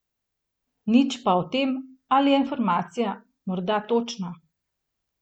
Nič pa o tem, ali je informacija morda točna.